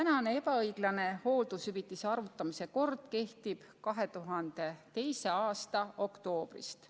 See ebaõiglane hooldushüvitise arvutamise kord kehtib 2002. aasta oktoobrist.